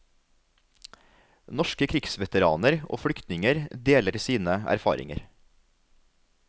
Norske krigsveteraner og flyktninger deler sine erfaringer.